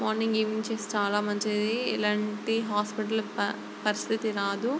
Morning evening చేస్తే చాలా మంచిది ఎలాంటి హాస్పెటల్ ప పరిస్థితి రాదు.